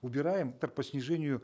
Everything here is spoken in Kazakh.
убираем так по снижению